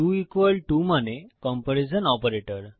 2 টো মানে comparison operator